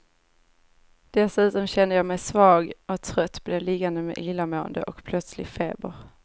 Dessutom kände jag mig svag och trött, blev liggande med illamående och plötslig feber.